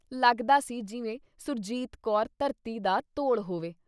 ਲੱਗਦਾ ਸੀ ਜਿਵੇਂ ਸੁਰਜੀਤ ਕੌਰ ਧਰਤੀ ਦਾ ਧੌਲ ਹੋਵੇ।